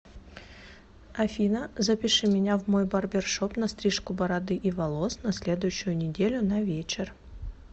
афина запиши меня в мой барбершоп на стрижку бороды и волос на следующую неделю на вечер